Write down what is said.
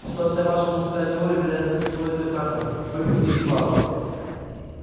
что вся ваша мужская теория вероятности сводится к картам выпивке и бабам